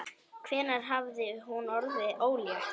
Hvenær hafði hún orðið ólétt?